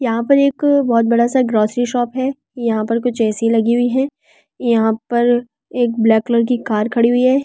यहाँ पर एक बहुत बड़ा सा ग्रोसरी शॉप है यहाँ कुछ ऐ_सी लगी हुई है यहाँ पर एक ब्लैक कलर की कार खड़ी हुई है यहाँ--